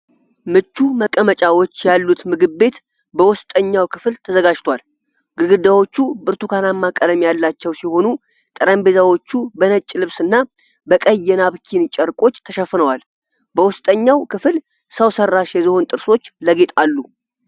ምቹ መቀመጫዎች ያሉት ምግብ ቤት በውስጠኛው ክፍል ተዘጋጅቷል። ግድግዳዎቹ ብርቱካናማ ቀለም ያላቸው ሲሆኑ ጠረጴዛዎቹ በነጭ ልብስና በቀይ የናፕኪን ጨርቆች ተሸፍነዋል። በውስጠኛው ክፍል ሰው ሠራሽ የዝሆን ጥርሶች ለጌጥ አሉ።